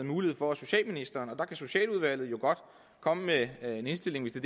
mulighed for at socialministeren og der kan socialudvalget jo godt komme med en indstilling hvis det